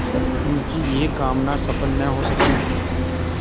पर उनकी यह कामना सफल न हो सकी